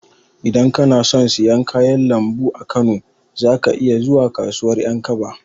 Idan kana son siyan kayan lambu a Kano, za ka iya zuwa kasuwar Ƴankaba.